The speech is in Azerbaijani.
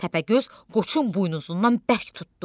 Təpəgöz qoçun buynuzundan bərk tutdu.